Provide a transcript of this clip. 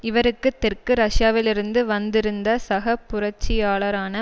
இவருக்குத் தெற்கு ரஷ்யாவிலிருந்து வந்திருந்த சக புரட்சியாளரான